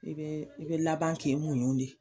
I bɛ i bɛ laban k'i muɲu de